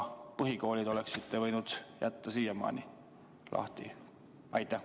Põhikoolid oleksite võinud siiamaani lahti jätta.